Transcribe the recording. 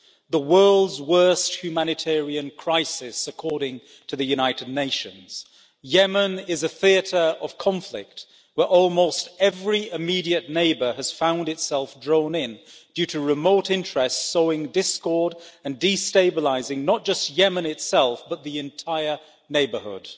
The world's worst humanitarian crisis, according to the United Nations Yemen is a theatre of conflict where almost every immediate neighbour has found itself drawn in due to remote interests sowing discord and destabilising not just Yemen itself, but the entire neighbourhood.